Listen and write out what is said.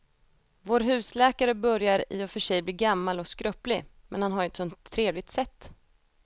Vår husläkare börjar i och för sig bli gammal och skröplig, men han har ju ett sådant trevligt sätt!